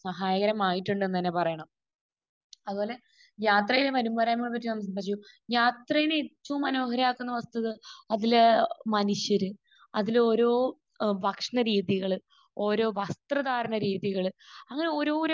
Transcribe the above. സഹായകരമായിട്ടുണ്ടെന്ന് തന്നെ പറയണം. അതുപോലെ യാത്രയുടെ വരുംപോരായ്മകളെ പറ്റി പറയുമ്പോൾ യാത്രയെ ഏറ്റവും മനോഹരമാക്കുന്ന വസ്തുത അതിലെ മനുഷ്യർ, അതിലെ ഓരോ ഏഹ് ഭക്ഷണ രീതികൾ, ഓരോ വസ്ത്രധാരണ രീതികൾ, അങ്ങനെ ഓരോരോ